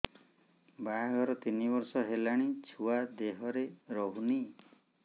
ବାହାଘର ତିନି ବର୍ଷ ହେଲାଣି ଛୁଆ ଦେହରେ ରହୁନି